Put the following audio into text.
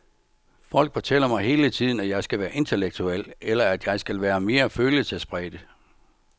Folk fortæller mig hele tiden, at jeg skal være intellektuel, eller at jeg skal være mere følelsespræget.